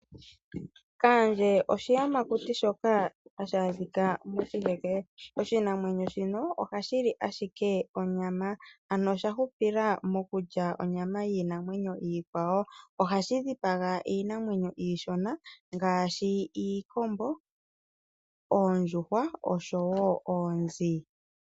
Kaandje oshiyamakuti shoka hashi adhika moshiheke. Oshinamwenyo shino ohashi li ashike onyama ano oshahupila mokulya onyama yiinamwenyo iikwawo. Ohashi dhipaga iinamwenyo iishona ngaashi, iikombo, oondjuhwa osho wo oonzi.